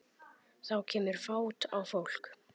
Þá kemur fát á fólk.